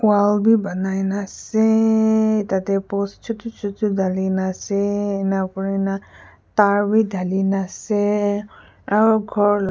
wall bi banai na aseyyyy tadeh post chutu chutu dhalina aseyyyy ena kurina tar wi dhalina asey.